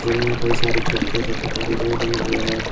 इनमें कई सारी खिड़कियां तथा कॉरिडोर बने हुए हैं।